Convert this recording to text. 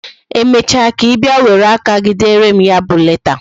Emecha ka Ị were aka gị bịa dere m ya bụ leta